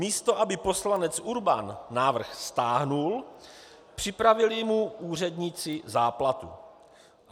Místo aby poslanec Urban návrh stáhl, připravili mu úředníci záplatu.